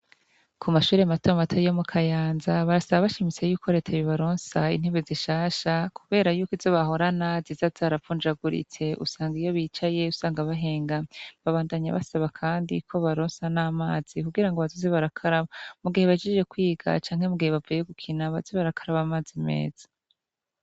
Kumashure mato mato yo mu kayanza barasaba bashimitse yuko reta yobaronsa intebe zishasha kubera yuko izo bahorana ziza zaravunjaguritse usanga iyo bicaye usanga bahengamye babandanya basaba kandi ko bobaronsa namazi kugira bazoze barakaraba mugihe bahejeje kwiga canke mugihe bavuye gukina baze barakaraba amazi meza